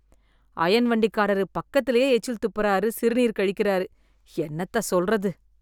ஐயன் வண்டிக்காரரு பக்கத்திலேயே எச்சில் துப்பறாரு , சிறுநீர் கழிக்கறாரு, என்னத்த சொல்றது.